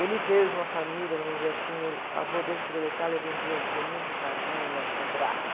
Ele veio de uma família, vamos dizer assim, o avô dele chegou da Itália, vendia a forminha de empadinha na, no Brás.